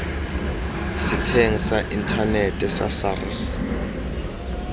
setsheng sa inthanete sa sars